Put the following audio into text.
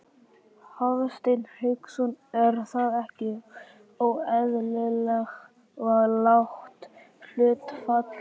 Hafsteinn Hauksson: Er það ekki óeðlilega lágt hlutfall?